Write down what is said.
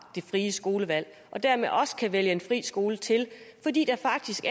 det frie skolevalg og dermed også kan vælge en fri skole til fordi der faktisk